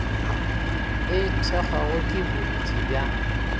e thekgwago ke bontši bja